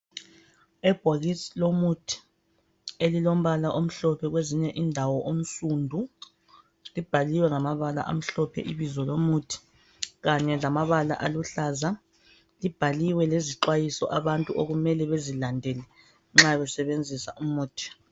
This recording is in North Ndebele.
Ibhokisi lomuthi elilombala omhlophe kwezinye indawo onsundu, libhaliwe ngamabala amhlophe ibizo lomuthi, kanye lamabala aluhlaza. Libhaliwe lezixwayiso abantu okumele bezilandele nxa besebenzisa umuthi lo.